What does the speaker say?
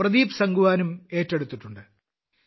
പ്രദീപ് സാംഗ്വാനും ഏറ്റെടുത്തിട്ടുണ്ട്